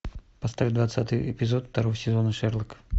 поставь двадцатый эпизод второго сезона шерлок